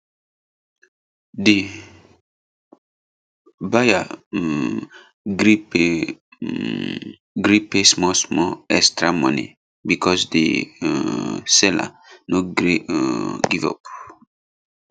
di buyer um gree pay um gree pay small small extra money because di um seller no gree um give up